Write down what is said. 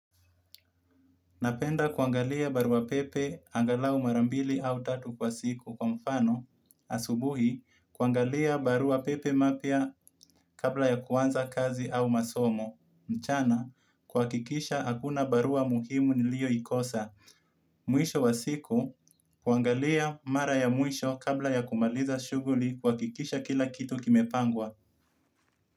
Napenda kuangalia barua pepe angalau mara mbili au tatu kwa siku kwa mfano. Asubuhi, kuangalia barua pepe mapya kabla ya kuanza kazi au masomo. Mchana, kuhakikisha hakuna barua muhimu nilioikosa. Mwisho wa siku, huangalia mara ya mwisho kabla ya kumaliza shughuli kuhakikisha kila kitu kimepangwa.